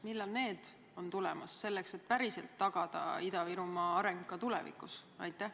Millal need plaanid on tulemas, et tagada Ida-Virumaa areng ka tulevikus?